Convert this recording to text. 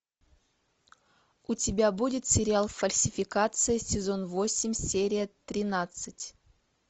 у тебя будет сериал фальсификация сезон восемь серия тринадцать